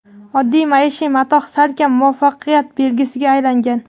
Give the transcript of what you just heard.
Oddiy maishiy matoh salkam muvaffaqiyat belgisiga aylangan.